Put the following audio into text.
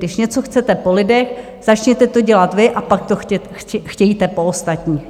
Když něco chcete po lidech, začněte to dělat vy a pak to chtějte po ostatních.